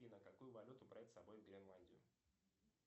афина какую валюту брать с собой в гренландию